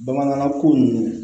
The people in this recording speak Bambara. Bamanankan ko ninnu